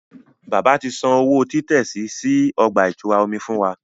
Bàbà tí sàn òwò titẹsi sí ọgba-itura omí fún wà